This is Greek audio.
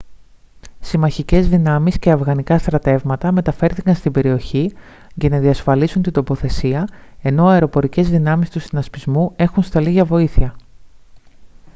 συμμαχικές δυνάμεις και αφγανικά στρατεύματα μεταφέρθηκαν στην περιοχή για να διασφαλίσουν την τοποθεσία ενώ αεροπορικές δυνάμεις του συνασπισμού έχουν σταλεί για βοήθεια